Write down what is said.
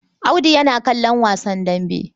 Audu yana kallon wasan dambe.